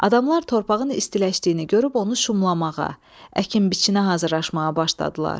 Adamlar torpağın istiləşdiyini görüb onu şumlamağa, əkin-biçinə hazırlaşmağa başladılar.